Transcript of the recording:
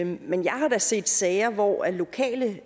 men jeg har da set sager hvor lokale